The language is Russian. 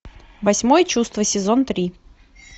восьмое чувство сезон три